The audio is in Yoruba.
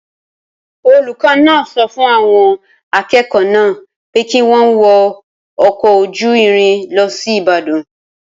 Olùkọ́ náà sọ fún àwọn akẹ́kọ̀ọ́ náà pé kí wọ́n wọ ọkọ̀ ojú irin lọ sí Ìbàdàn.